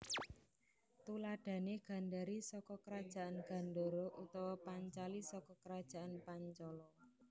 Tuladhane Gandari saka Kerajaan Gandhara utawa Pancali saka Kerajaan Pancala